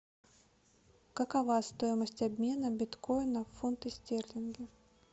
какова стоимость обмена биткоина в фунты стерлинги